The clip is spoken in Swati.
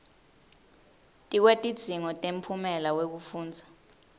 tikwetidzingo temphumela wekufundza